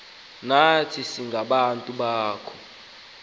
nathi singabantwana bakho